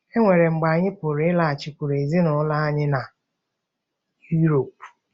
E nwere mgbe anyị pụrụ pụrụ ịlaghachikwuru ezinụlọ anyị na um Europe um.